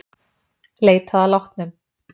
Leitað að látnum